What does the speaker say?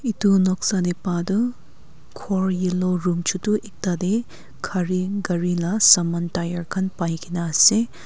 edu noksa tae patoh khor yellow room chutu tae ekta tae gari gari la saman khan paina ase.